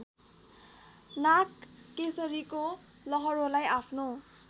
नागकेशरीको लहरोलाई आफ्नो